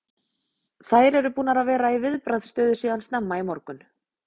Þær eru búnar að vera í viðbragðsstöðu síðan snemma í morgun.